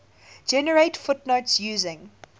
generate footnotes using